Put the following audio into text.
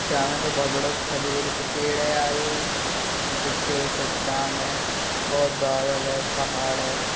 चा मे तो बहुत बड़ों खजूर का पेड़ है आगे ही या तो इत्ती बड़ी चट्टान है बोहोत बादल है पहाड़ है।